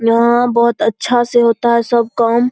यहाँ बहोत अच्छा से होता है सब काम।